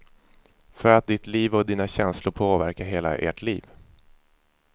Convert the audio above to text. För att ditt liv och dina känslor påverkar hela ert liv.